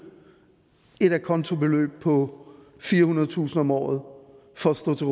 et a conto beløb på firehundredetusind kroner om året for at stå til